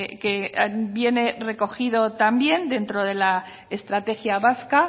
que viene recogido también dentro de la estrategia vasca